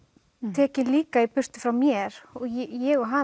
tekinn líka í burtu frá mér og ég og hann